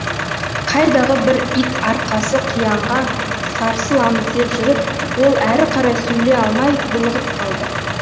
қайдағы бір ит арқасы қиянға сарсыламыз деп жүріп ол әрі қарай сөйлей алмай булығып қалды